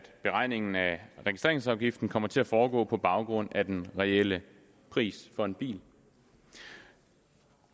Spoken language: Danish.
beregningen af registreringsafgiften kommer til at foregå på baggrund af den reelle pris for en bil